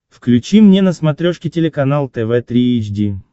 включи мне на смотрешке телеканал тв три эйч ди